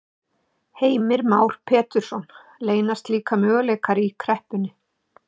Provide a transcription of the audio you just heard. Heimir Már Pétursson: Leynast líka möguleikar í kreppunni?